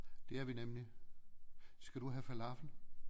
Det er vi nemlig skal du have falafel